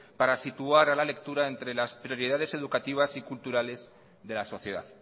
para situar a la lectura entre las prioridades educativas y culturales de la sociedad